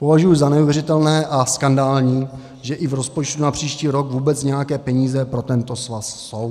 Považuji za neuvěřitelné a skandální, že i v rozpočtu na příští rok vůbec nějaké peníze pro tento svaz jsou.